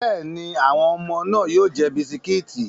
Bẹ́ẹ̀ni, àwọn ọmọ náà yóò jẹ bisikíìtì.